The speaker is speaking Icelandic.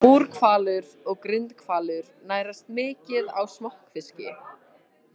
Búrhvalur og Grindhvalur nærast mikið á smokkfiski.